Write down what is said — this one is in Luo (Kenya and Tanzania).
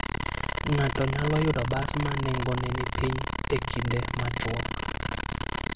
Ng'ato nyalo yudo bas ma nengone ni piny e kinde machuok.